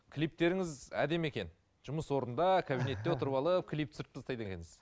клиптеріңіз әдемі екен жұмыс орында кабинетте отырып алып клип түсіріп тастайды екенсіз